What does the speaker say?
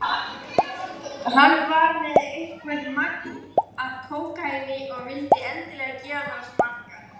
Hann var með eitthvert magn af kókaíni og vildi endilega gefa mér að smakka.